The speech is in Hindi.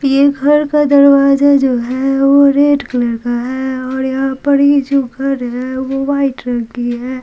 ये घर का दरवाजा जो है वो रेड कलर का है और यहाँ पर ये जो घर है वो वाइट रंग की है।